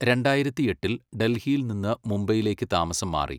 രണ്ടായിരത്തിയെട്ടിൽ ഡൽഹിയിൽ നിന്ന് മുംബൈയിലേക്ക് താമസം മാറി.